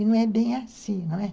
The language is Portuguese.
E não é bem assim, não é?